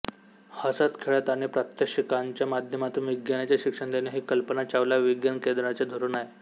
हसतखेळत आणि प्रात्यक्षिकांच्या माध्यमातून विज्ञानाचे शिक्षण देणे हे कल्पना चावला विज्ञान केंद्राचे धोरण आहे